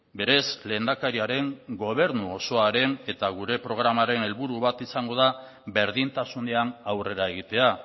berez lehendakariaren gobernu osoaren eta gure programaren helburu bat izango da berdintasunean aurrera egitea